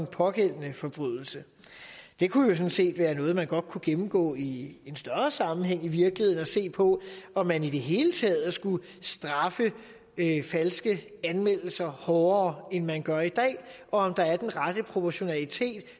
pågældende forbrydelser det kunne jo sådan set være noget man godt kunne gennemgå i en større sammenhæng i virkeligheden og se på om man i det hele taget skulle straffe falske anmeldelser hårdere end man gør i dag og om der er den rette proportionalitet